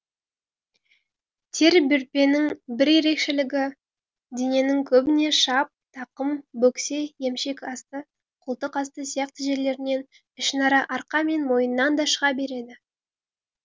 тер бөртпенің бір ерекшелігі дененің көбіне шап тақым бөксе емшек асты қолтық асты сияқты жерлерінен ішінара арқа мен мойыннан да шыға береді